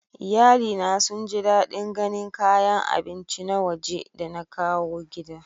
Iyalina sun ji dadin ganin kayan abinci na waje da na kawo gida.